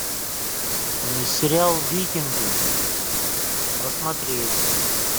сериал викинги посмотреть